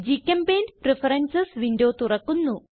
ഗ്ചെമ്പെയിന്റ് preferences window തുറക്കുന്നു